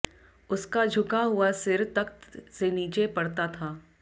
उसका झुका हुआ सिर तख्त से नीचे पड़ता था